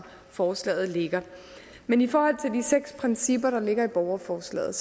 forslaget ligger men i forhold til de seks principper der ligger i borgerforslaget